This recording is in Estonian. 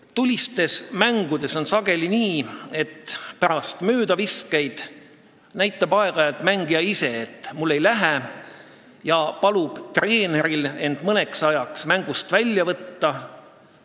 Tulistes mängudes on sageli nii, et pärast möödaviskeid näitab aeg-ajalt mõni mängija ise, et mul ei lähe, ja palub treeneril end mõneks ajaks mängust välja võtta.